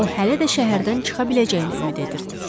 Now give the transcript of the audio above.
O hələ də şəhərdən çıxa biləcəyinə ümid edirdi.